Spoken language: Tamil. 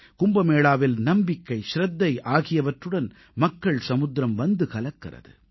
கும்பமேளாவில் நம்பிக்கை ச்ரத்தை ஆகியவற்றுடன் மக்கள் சமுத்திரம் வந்து கலக்கிறது